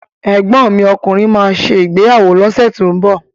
Ẹ̀gbọ́n mi ọkùnrin má ṣè ìgbéyàwó lọ́sẹ̀ tó ń bọ̀